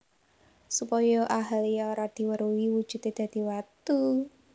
Supaya Ahalya ora diweruhi wujudé dadi watu